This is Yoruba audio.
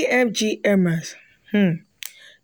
efg hermes um